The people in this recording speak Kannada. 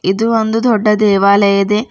ಇದು ಒಂದು ದೊಡ್ಡ ದೇವಾಲಯದ ಇದೆ.